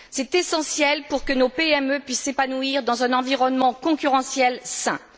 C'est essentiel pour que nos PME puissent s'épanouir dans un environnement concurrentiel sain.